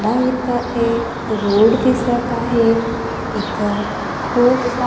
या इथं एक रोड दिसत आहे इथं खूप सा--